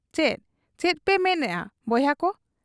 ᱪᱤ ᱪᱮᱫᱯᱮ ᱢᱱᱮᱜ ᱟ ᱵᱚᱭᱦᱟ ᱠᱚ ?